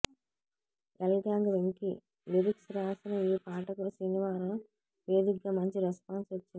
L గ్యాంగ్ Venky lyrics రాసిన ఈ పాటకు సినివారం వేదికగా మంచి రెస్పాన్స్ వచ్చింది